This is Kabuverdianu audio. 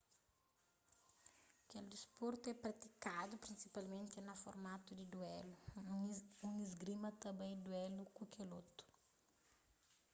kel disportu é pratikadu prinsipalmenti na formatu di duélu un isgrimista ta bai duélu ku kel otu